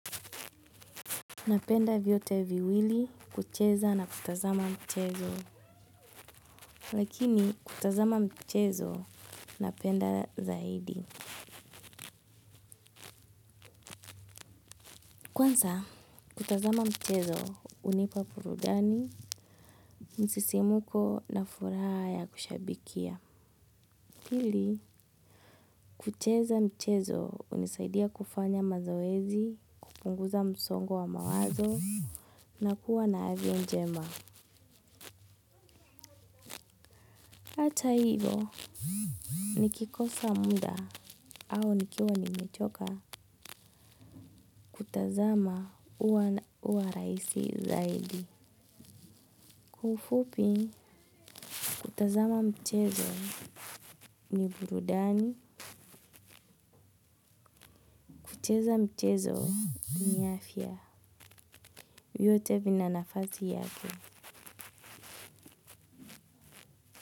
Napenda vyote viwili kucheza na kutazama mchezo, lakini kutazama mchezo napenda zaidi. Kwanza, kutazama mchezo hunipa burudani, msisimuko na furaha ya kushabikia. Pili, kucheza michezo hunisaidia kufanya mazoezi, kupunguza msongo wa mawazo na kuwa na afya njema. Hata hivo nikikosa muda au nikiwa nimechoka kutazama huwa raisi zaidi. Kwa ufupi kutazama mchezo ni burudani kucheza michezo ni afya. Yote vina nafasi yake.